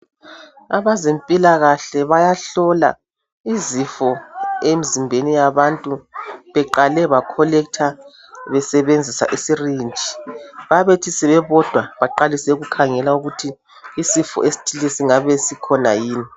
Abezempilakahle bayahlola izifo emzimbeni yabantu beqale ba (collector) besebenzisa i (syringe) . Babethi sebebodwa baqalise ukukhangela ukuthi isifo esithile esingabe sikhona yini.